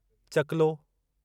चकुलो